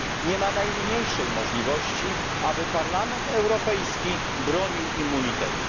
nie ma najmniejszej możliwości, aby Parlament Europejski bronił immunitetu.